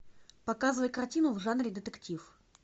показывай картину в жанре детектив